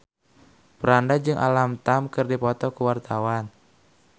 Franda jeung Alam Tam keur dipoto ku wartawan